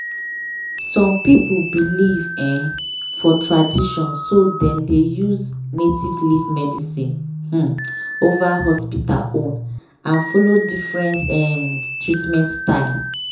some people believe um for tradition so dem dey use native leaf medicine um over hospital own and follow different um treatment style.